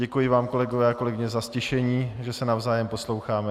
Děkuji vám, kolegyně a kolegové, za ztišení, že se navzájem posloucháme.